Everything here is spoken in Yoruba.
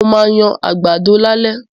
Mo ma yan àgbàdo lálẹ́.